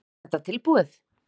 Er þetta tilbúið?